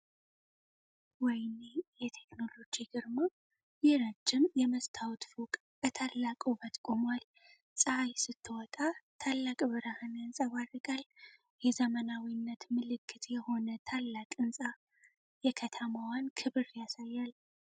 ወይኔ የቴክኖሎጂ ግርማ! ይህ ረጅም የመስታወት ፎቅ በታላቅ ውበት ቆሟል! ፀሐይ ስትወጣ ታላቅ ብርሃን ያንጸባርቃል። የዘመናዊነት ምልክት የሆነ ታላቅ ህንጻ! የከተማዋን ክብር ያሳያል!